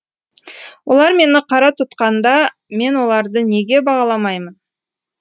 олар мені қара тұтқанда мен оларды неге бағаламаймын